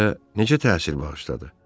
O sizə necə təsir bağışladı?